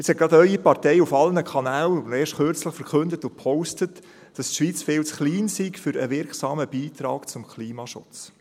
Jetzt hat gerade Ihre Partei erst kürzlich auf allen Kanälen verkündet und gepostet, dass die Schweiz viel zu klein sei für einen wirksamen Beitrag zum Klimaschutz.